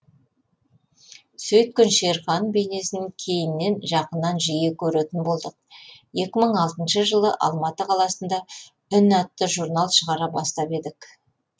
сөйткен шерхан бейнесін кейіннен жақыннан жиі көретін болдық екі мың алтыншы жылы алматы қаласында үн атты журнал шығара бастап едік